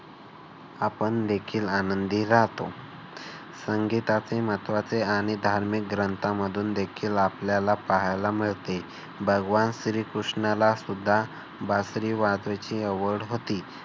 आपण देखील आनंदी राहतो. संगीताचे महत्वाचे आणि धार्मिक ग्रंथांमधून देखील आपल्याला पाहायला मिळते. भगवान श्रीकृष्णाला सुद्धा बासरी वाजवायची आवड होती.